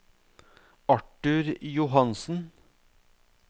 Arthur Johansen